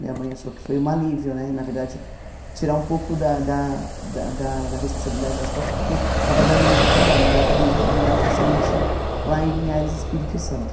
Minha mãe achou que foi um alívio né, na verdade, tirar um pouco da da da da da responsabilidade das costas, porque estava dando muito trabalho, então eu acabei indo morar com essa minha tia lá em Linhares Espírito Santo.